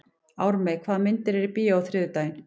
Ármey, hvaða myndir eru í bíó á þriðjudaginn?